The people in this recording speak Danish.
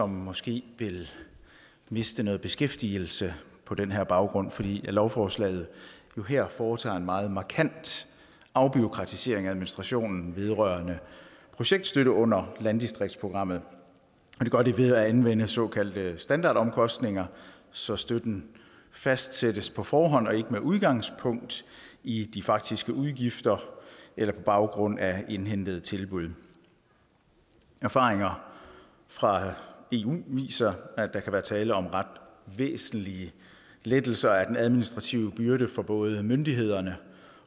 måske vil miste noget beskæftigelse på den her baggrund fordi lovforslaget her jo foretager en meget markant afbureaukratisering af administrationen vedrørende projektstøtte under landdistriktsprogrammet og det gør det ved at anvende såkaldte standardomkostninger så støtten fastsættes på forhånd og ikke med udgangspunkt i de faktiske udgifter eller på baggrund af indhentede tilbud erfaringer fra eu viser at der kan være tale om ret væsentlige lettelser af den administrative byrde for både myndighederne